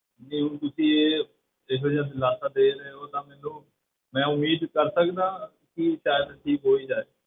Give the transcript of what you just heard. ਜੇ ਹੁਣ ਤੁਸੀਂ ਇਹ ਇਹੋ ਜਿਹਾ ਦਿਲਾਸਾ ਦੇ ਰਹੇ ਹੋ ਤਾਂ ਮੈਨੂੰ ਮੈਂ ਉਮੀਦ ਕਰ ਸਕਦਾ ਹਾਂ ਕਿ ਸ਼ਾਇਦ ਠੀਕ ਹੋ ਹੀ ਜਾਏ।